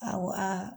Awɔ aa